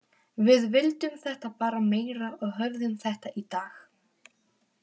Við vildum þetta bara meira og höfðum þetta í dag.